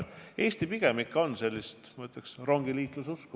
Mulle tundub, et Eesti inimesed pigem ikka on, ma ütleks, rongiliikluse usku.